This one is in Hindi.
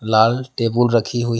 लाल टेबल रखी हुई--